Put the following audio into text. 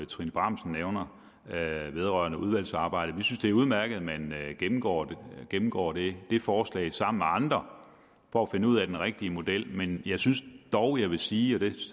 trine bramsen nævner vedrørende udvalgets arbejde sige det er udmærket at man gennemgår gennemgår det forslag sammen med andre for at finde ud af den rigtige model men jeg synes dog jeg vil sige det